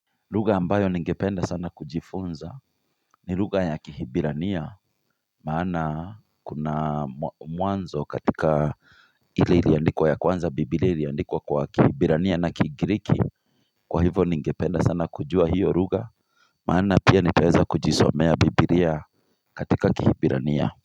Lugha ambayo ningependa sana kujifunza ni lugha ya kihibirania Maana kuna mwanzo katika ile iliandikwa ya kwanza bibilia iliandikwa kwa kihibirania na kigiriki Kwa hivyo ningependa sana kujua hiyo lugha Maana pia ningeweza kujisomea bibilia katika kihibirania.